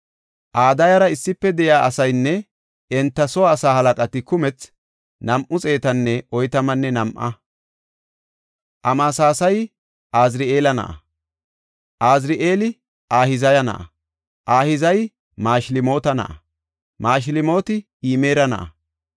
Adayara issife de7iya asaynne enta soo asaa halaqati kumethi 242. Amasasayi Azari7eela na7a; Azari7eeli Ahizaya na7a; Ahizayi Mashilmoota na7a; Mashilmooti Imera na7a.